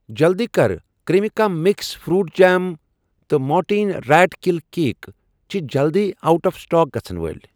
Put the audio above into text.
جلدی کر، Cremica mix fruit jam تہٕ مورٹیٖن ریٹ کِل کیک چھِ جلدی اوٹ آف سٹاک گژھن وٲلۍ